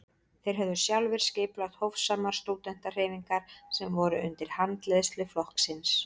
Þeir höfðu sjálfir skipulagt hófsamar stúdentahreyfingar sem voru undir handleiðslu flokksins.